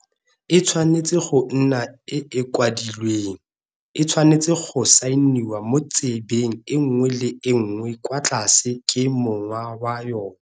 E tshwanetse go nna e e kwadilweng, e tshwanetse go saeniwa mo tsebeng e nngwe le e nngwe kwa tlase ke mong wa yona.